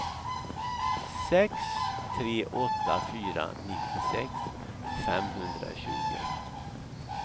sex tre åtta fyra nittiosex femhundratjugo